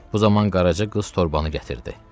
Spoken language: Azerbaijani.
Bu zaman Qaraca qız torbanı gətirdi.